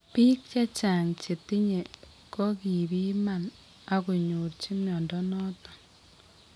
Biik chechan chetinye kokibiman ako nyorchi mnyondo noton